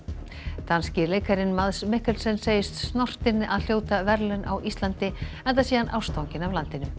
danski leikarinn Mikkelsen segist snortinn að hljóta verðlaun á Íslandi enda sé hann ástfanginn af landinu